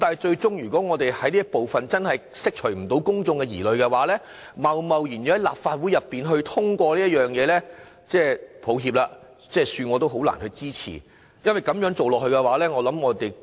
然而，如果公眾最終無法釋除對這部分的疑慮，恕我難以支持立法會貿然通過這部分的修正案，也沒有實質理據要這樣做。